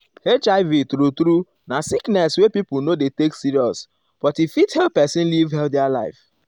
hiv true true na sickness wey pipo no dey take serious but e fit help pesin live healthy life.